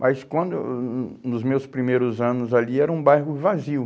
Mas quando... hum hum, nos meus primeiros anos ali era um bairro vazio.